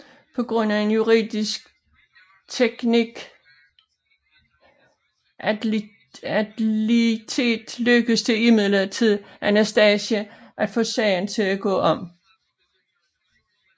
På grund af en juridisk teknikalitet lykkedes det imidlertid Anastasia at få sagen til at gå om